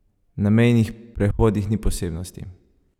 Na mejnih prehodih ni posebnosti.